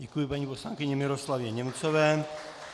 Děkuji paní poslankyni Miroslavě Němcové.